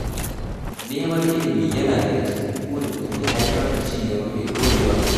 Neman ilimi yana daga cikin burin da ke haifar da ci gaba mai ɗorewa.